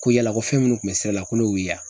Ko yala ko fɛn munnu kun be sira la ko ne y'u ye wa?